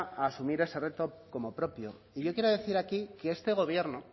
a asumir ese reto como propio y yo quiero decir aquí que este gobierno